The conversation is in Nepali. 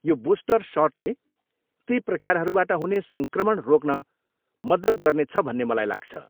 यो बुस्टर सटले ती प्रकारहरूबाट हुने सङ्क्रमण रोक्न मद्दत गर्नेछ भन्ने मलाई लाग्छ।